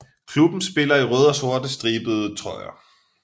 Klubben spiller i røde og sorte stribede trøjer